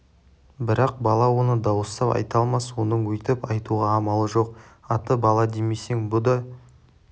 бірақ бала оны дауыстап айта алмас оның өйтіп айтуға амалы жоқ аты бала демесең бұ да